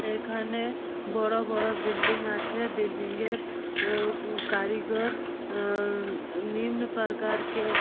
এখানে বড় বড় বিল্ডিং আছে বিল্ডিং -এর কারিগর নিম্ন প্রকারকে --